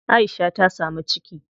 Aisha ta samu ciki.